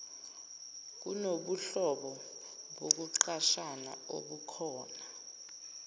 kunobuhlobo bokuqashana obukhona